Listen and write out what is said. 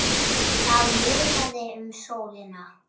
Það munaði um sólina.